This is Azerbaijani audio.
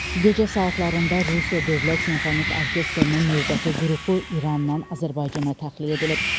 Gecə saatlarında Rusiya Dövlət Simfonik Orkestrinin növbəti qrupu İrandan Azərbaycana təxliyə edilib.